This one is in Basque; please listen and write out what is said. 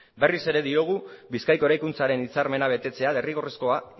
berriz ere diogu bizkaiko eraikuntzaren hitzarmena betetzea derrigorrezkoa